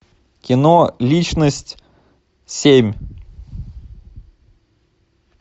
кино личность семь